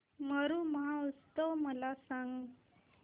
मरु महोत्सव मला सांग